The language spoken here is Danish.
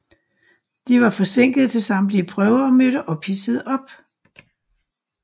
De var forsinkede til samtlige prøver og mødte ophidsede op